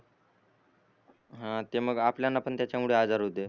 हा ते मग आपल्याला त्याच्या मुळे पण आजार होते